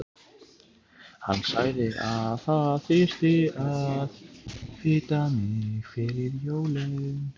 Hann sagði að það þyrfti að fita mig fyrir jólin.